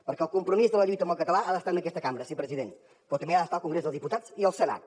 perquè el compromís de la lluita amb el català ha d’estar en aquesta cambra sí president però també d’estar al congrés dels diputats i al senat